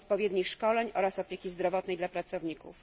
odpowiednich szkoleń oraz opieki zdrowotnej dla pracowników.